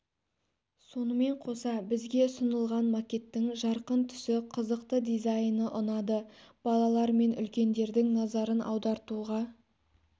сонымен қоса бізге ұсынылған макеттің жарқын түсі қызықты дизайны ұнады балалар мен үлкендердің назарын аудартуға